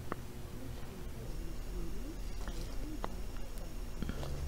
включи первую серию спайка майнкрафта